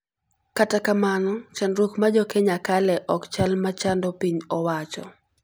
Kata kamano, chandruok ma jokenya kale ok chal ma chando piny owacho.